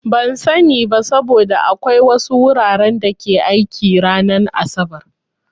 Ban sani ba, saboda akwai wasu wuraren da ke aiki ranar asabar.